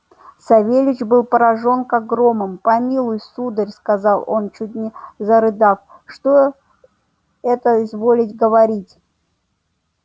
савельич был поражён как громом помилуй сударь сказал он чуть не зарыдав что это изволить говорить